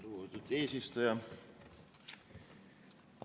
Lugupeetud eesistuja!